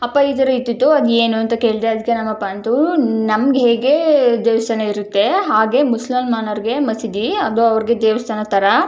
ಅಪ್ಪ ಈ ತರ ಇಟ್ಟಿದ್ದು ಅದು ಏನು ಅಂತ ಕೇಳ್ದೆ ಅದಕ್ಕೆ ನಮ್ಮಪ್ಪ ಅಂತೂ ನಮಗೆ ಹೇಗೆ ದೇವಸ್ತಾನ ಇರುತ್ತೆ ಹಾಗೆ ಮುಸಲ್ಮಾನರಿಗೆ ಮಸೀದಿ ಅದು ಅವರಿಗೆ ದೇವಸ್ಥಾನ ತರ --